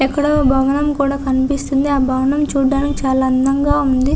ఎక్కడో భవనం కూడా కనిపిస్తుంది ఆ భవనం చూడటానికి చాలా అందంగా వుంది.